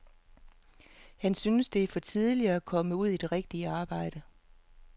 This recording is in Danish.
Han synes, at det er for tidligt at komme ud i et rigtigt arbejde.